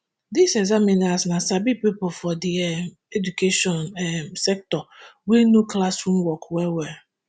dis examiners na sabi pipo for di um education um sector wey know classroom work wellwell